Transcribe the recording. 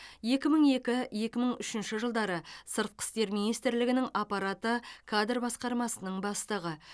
екі мың екі екі мың үшінші жылдары сыртқы істер министрлігі аппараты кадр басқармасының бастығы